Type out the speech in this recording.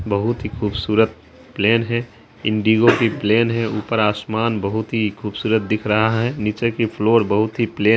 बहुत ही खूबसूरत प्लेन है। इनडीगो की प्लेन है। ऊपर आसमान बहुत ही खूबसूरत दिख रहा है नीचे की फ्लोर बहुत ही प्लेन --